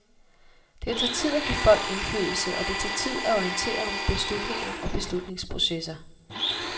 Det tager tid, at give folk indflydelse, og det tager tid at orientere om beslutninger og beslutningsprocesser.